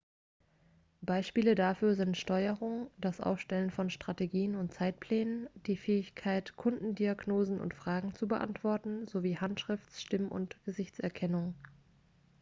beispiele dafür sind steuerung das aufstellen von strategien und zeitplänen die fähigkeit kundendiagnosen und fragen zu beantworten sowie handschrifts stimm und gesichtserkennung